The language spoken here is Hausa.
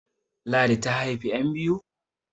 Ladi ta haifi `yan biyu